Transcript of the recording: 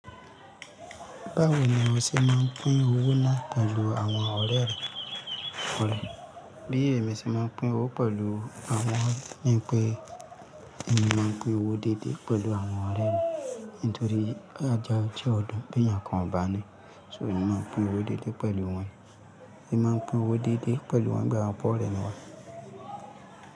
Báwo ni èmi ṣe máa ń pín owó náà pelu àwọn ọ̀rẹ́ orẹ̀? Bí èmi ṣe máa n pín owó pẹ̀lú àwọn ni pé èmi máa n pín owó déédéé pẹ̀lú àwọn ọ̀rẹ́ mi nítorí ajá jẹ́ ọ̀dùn bí èèyàn kan ò bá ní. So èmi máa pín owó déédéé pẹ̀lú wọ́n, èmi máa pín owó déédéé pẹ̀lú wọn bí àwọn bọ́ ọ̀rẹ́ mi wá.